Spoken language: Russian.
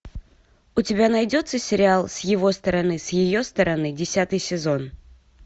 у тебя найдется сериал с его стороны с ее стороны десятый сезон